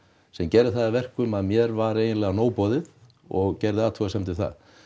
sem gerir það að verkum að mér var eiginlega nóg boðið og gerði athugasemdir við